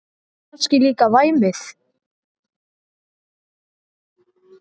Og kannski líka væmið.